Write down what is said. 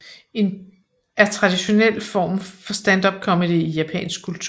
er traditionel form for standupcomedy i japansk kultur